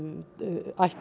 ætti